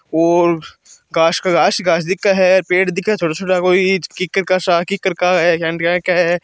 और काशका-आकाश दिखे है पेड़ दिखे है छोटा-छोटा कोई किक्कर का सा किक्कर का है केया के --